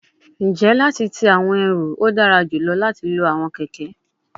N je lati ti awọn eru, o dara julọ lati lo awọn kẹkẹ